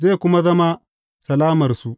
Zai kuma zama salamarsu.